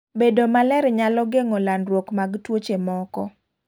Bedo maler nyalo geng'o landruok mag tuoche moko.